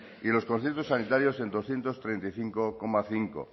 y los conciertos sanitarios en doscientos treinta y cinco coma cinco